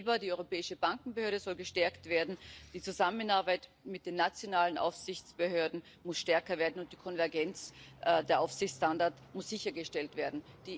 Sie sagt, die EBA, die Europäische Bankenaufsichtsbehörde, soll gestärkt werden, die Zusammenarbeit mit den nationalen Aufsichtsbehörden muss stärker werden, und die Konvergenz der Aufsichtsstandards muss sichergestellt werden.